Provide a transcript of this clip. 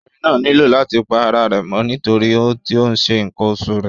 Obìnrin náà nílò láti pa ara rẹ̀ mọ́ nítorí tí ó ń ṣe ǹkan oṣù rẹ̀.